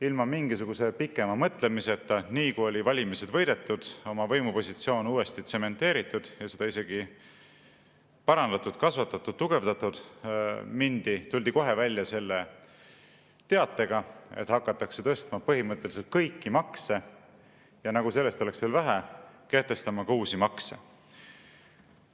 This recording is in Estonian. Ilma mingisuguse pikema mõtlemiseta, nii kui oli valimised võidetud, oma võimupositsioon uuesti tsementeeritud ja seda isegi parandatud, kasvatatud ja tugevdatud, tuldi kohe välja teatega, et hakatakse tõstma põhimõtteliselt kõiki makse, ja nagu sellest oleks veel vähe, kehtestatakse ka uusi makse.